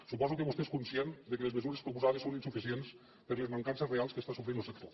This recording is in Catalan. suposo que vostè és conscient que les mesures proposades són insuficients per les mancances reals que està sofrint lo sector